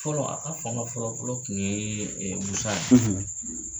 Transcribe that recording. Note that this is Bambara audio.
Fɔlɔ a ka fanga fɔlɔ fɔlɔ tun ye ye.